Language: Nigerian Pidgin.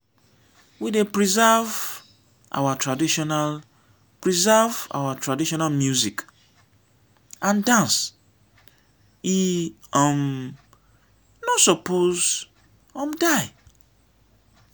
we dey preserve our traditional preserve our traditional music and dance e um no suppose um die.